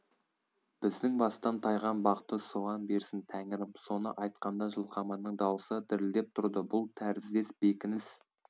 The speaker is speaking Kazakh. біздің бастан тайған бақты соған берсін тәңірім соны айтқанда жылқаманның даусы дірілдеп тұрды бұл тәріздес бекініс